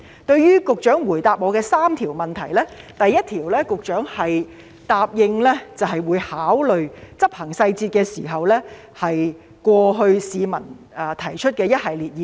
對於局長回答我的質詢的3個部分，就第一部分，局長答應，在執行細節時，會考慮過去一段時間市民所提出的一系列意見。